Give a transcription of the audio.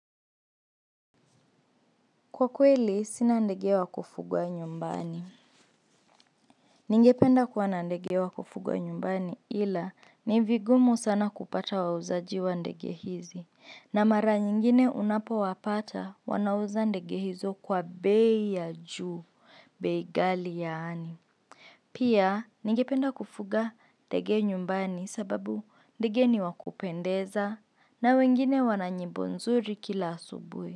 Kwa kweli, sina ndege wa kufugwa nyumbani. Ningependa kuwa na ndege wa kufugwa nyumbani ila ni vigumu sana kupata wauzaji wa ndege hizi. Na mara nyingine unapowapata, wanauza ndege hizo kwa bei ya juu, bei ghali yani. Pia, ningependa kufuga ndege nyumbani sababu ndege ni wakupendeza na wengine wana nyimbo nzuri kila asubuhi.